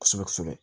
Kosɛbɛ kosɛbɛ